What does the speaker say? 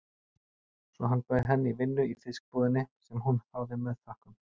Svo hann bauð henni vinnu í fiskbúðinni, sem hún þáði með þökkum.